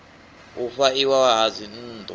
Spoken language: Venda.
u fha iwa ha dzinnḓu